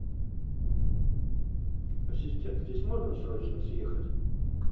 ассистент здесь можно срочно съехать